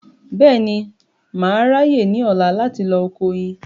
Bẹ́ẹ̀ni, mà á ráyè ní ọ̀la láti lọ oko oyin